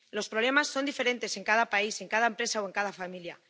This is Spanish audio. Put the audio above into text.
Los problemas son diferentes en cada país, en cada empresa o en cada familia.